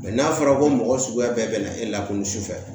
n'a fɔra ko mɔgɔ suguya bɛɛ bɛ na e lakodɔn su fɛ